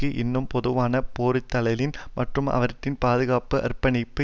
இன்னும் பொதுவான பொறிதலின் மற்றும் அவற்றின் பாதுகாப்புக்கு அர்ப்பணிக்கும்